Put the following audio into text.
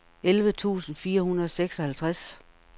elleve tusind fire hundrede og seksoghalvtreds